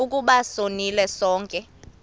ukuba sonile sonke